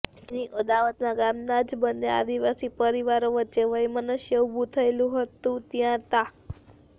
જેની અદાવતમાં ગામના જ બંન્ને આદિવાસી પરિવારો વચ્ચે વયમનસ્ય ઉભું થયેલું હતું ત્યાં તા